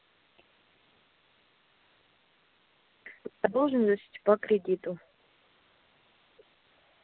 задолженность по кредиту